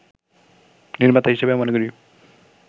নির্মাতা হিসেবে মনে করি